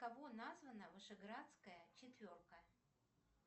кого названа вышеградская четверка